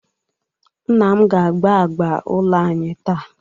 Nna m ga agba agba agba agba anyi taa.